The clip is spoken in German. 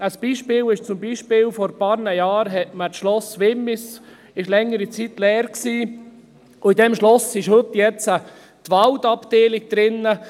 Ein Beispiel: Vor einigen Jahren war das Schloss Wimmis längere Zeit leer, und in diesem Schloss ist jetzt heute die Waldabteilung untergebracht.